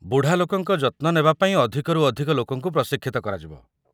ବୁଢ଼ା ଲୋକଙ୍କ ଯତ୍ନ ନେବା ପାଇଁ ଅଧିକରୁ ଅଧିକ ଲୋକଙ୍କୁ ପ୍ରଶିକ୍ଷିତ କରାଯିବ।